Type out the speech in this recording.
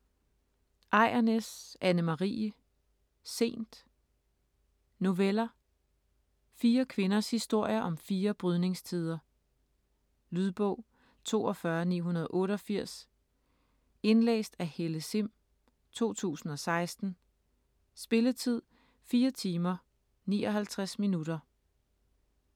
Ejrnæs, Anne Marie: Sent Noveller. Fire kvinders historier om fire brydningstider. Lydbog 42988 Indlæst af Helle Sihm, 2016. Spilletid: 4 timer, 59 minutter.